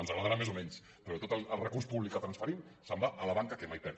ens agradarà més o menys però tot el recurs públic que transferim se’n va a la banca que mai perd